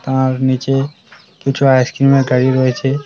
আর নীচে কিছু আইসক্রিমের গাড়ি রয়েছে।